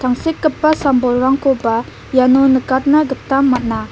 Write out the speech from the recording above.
tangsekgipa sam bolrangkoba iano nikatna gita man·a.